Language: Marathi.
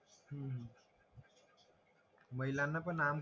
महिलांना पण आम